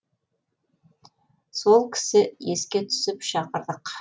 сол кісі еске түсіп шақырдық